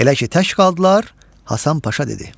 Elə ki tək qaldılar, Həsən Paşa dedi: